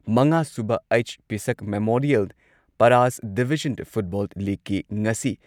ꯃꯉꯥꯁꯨꯕ ꯑꯩꯆ. ꯄꯤꯁꯛ ꯃꯦꯃꯣꯔꯤꯌꯦꯜ ꯄꯔꯥꯁ ꯗꯤꯚꯤꯖꯟ ꯐꯨꯠꯕꯣꯜ ꯂꯤꯒꯀꯤ ꯉꯁꯤ